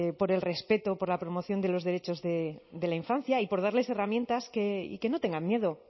por el respeto por la promoción de los derechos de la infancia y por darles herramientas que y que no tengan miedo o